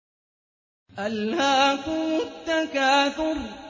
أَلْهَاكُمُ التَّكَاثُرُ